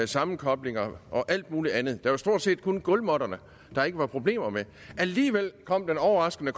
sammenkoblinger og alt muligt andet det var stort set kun gulvmåtterne der ikke var problemer med alligevel var den overraskende